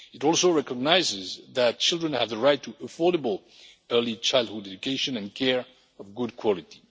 It also recognises that children have the right to affordable early childhood education and care of good quality.